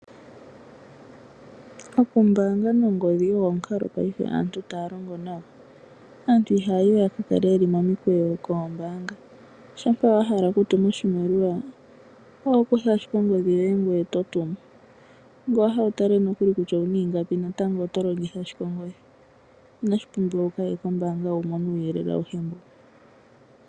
Okumbanga nongodhi ogo omukalo aantu taya longo nago, aantu iha yayi we yaka kale momikweyo koombanga uuna wahala okutuma oshimaliwa oho kutha ashike ongodhi yoye ngoye to tumu. Uuna wa hala okutala kutya owu nako ingapi natango oto longitha ashike ongodhi ina shi pumbiwa wu kaye kombanga wu mone uuyelele awuhe mbo.